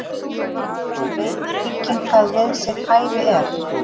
Veit hygginn hvað við sitt hæfi er.